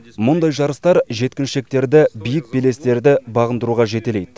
мұндай жарыстар жеткіншектерді биік белестерді бағындыруға жетелейді